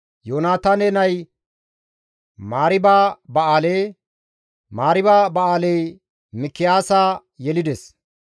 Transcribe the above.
Yoonataane nay Mariiba-Ba7aale; Mariiba-Ba7aaley Mikiyaasa yelides.